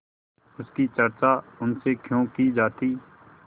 उसकी चर्चा उनसे क्यों की जाती